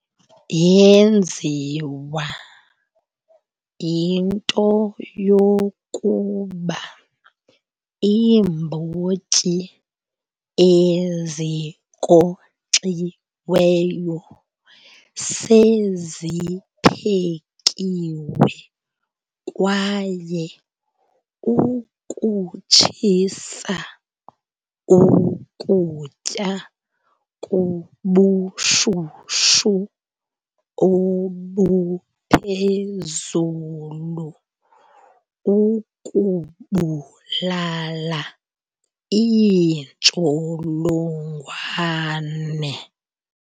Yenziwa yinto yokuba iimbotyi ezinkonkxiweyo seziphekiwe kwaye ukutshisa ukutya kubushushu obuphezulu kukubulala iintsholongwane.